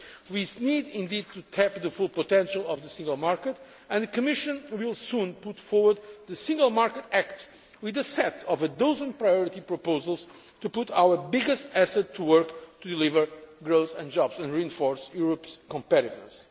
We need indeed to tap the full potential of the Single Market, and the Commission will soon put forward the Single Market Act with a set of a dozen priority proposals to put our biggest asset to work, to deliver growth and jobs and reinforce Europe's competitiveness.